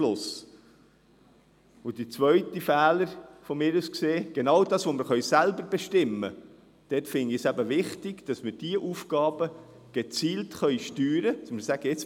Der zweite Fehler aus meiner Sicht: Genau das, was wir selber bestimmen können, erachte ich es als wichtig, nämlich dass wir diese Aufgaben gezielt steuern und sagen können: